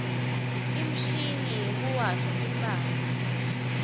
imshini yekuwasha timphahla